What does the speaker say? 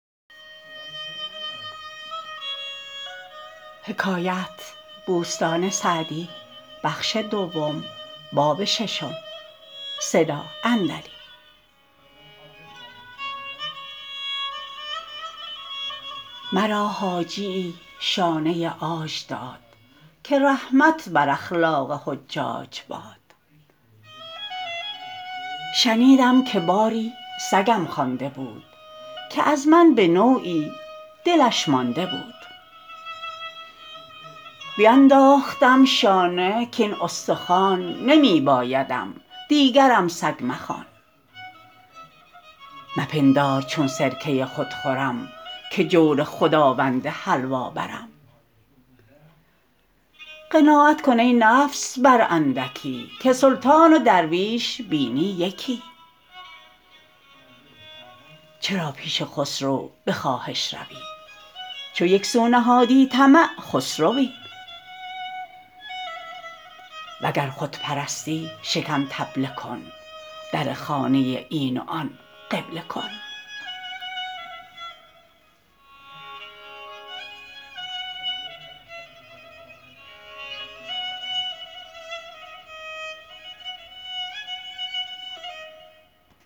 مرا حاجیی شانه عاج داد که رحمت بر اخلاق حجاج باد شنیدم که باری سگم خوانده بود که از من به نوعی دلش مانده بود بینداختم شانه کاین استخوان نمی بایدم دیگرم سگ مخوان مپندار چون سرکه خود خورم که جور خداوند حلوا برم قناعت کن ای نفس بر اندکی که سلطان و درویش بینی یکی چرا پیش خسرو به خواهش روی چو یک سو نهادی طمع خسروی وگر خود پرستی شکم طبله کن در خانه این و آن قبله کن